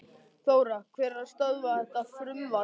Þóra: Hver er að stöðva þetta frumvarp?